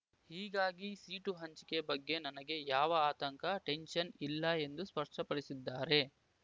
ಹೀಗಾಗಿ ಸೀಟು ಹಂಚಿಕೆ ಬಗ್ಗೆ ನನಗೆ ಯಾವ ಆತಂಕ ಟೆನ್ಷನ್ ಇಲ್ಲ ಎಂದು ಸ್ಪಷ್ಟಪಡಿಸಿದ್ದಾರೆ